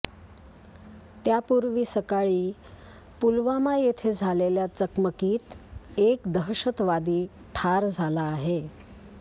त्या पूर्वी सकाळी पुलवामा येथे झालेल्या चकमकीत एक दहशतवादी ठार झाला आहे